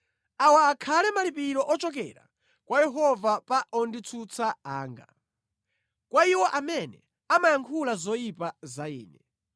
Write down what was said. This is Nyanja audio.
Awa akhale malipiro ochokera kwa Yehova pa onditsutsa anga, kwa iwo amene amayankhula zoyipa za ine.